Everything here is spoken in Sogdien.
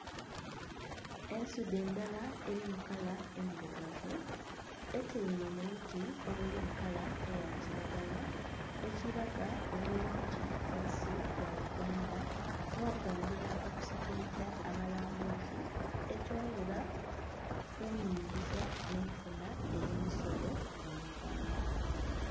Ensudhe ndala eri mu kala endhirugavu etyaime mu buti obuli mu kala eya kilagala, ekiraga obulungi bwensi ya uganda n'okwongera okusikiliza abalambuzi, ekyongera ku nhingiza n'enfuna eye misolo mu Uganda.